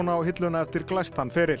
á hilluna eftir glæstan feril